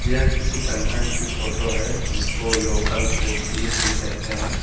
यह किसी कंसेंट की फोटो है जिसको लोकल फूड फिस्ट भी कहते हैं।